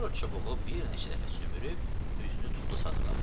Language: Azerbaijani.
Sonra çubuğu bir neçə dəfə sümürüb üzünü tutdu Sadığa.